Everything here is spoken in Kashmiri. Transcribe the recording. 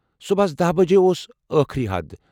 صُبحس دہَ بجےاوس ٲخری حد۔